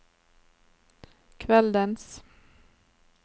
kveldens